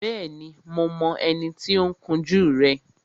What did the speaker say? Bẹ́ẹ̀ni, mo mọ ẹni tí ó ń kun jú rẹ